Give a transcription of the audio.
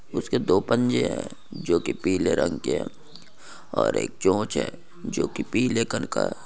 इसके दो पंजे है जो की पीले रंग के है और एक चोंच है जो की पीले कलर--